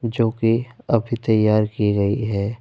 जो कि अभी तैयार की गई है।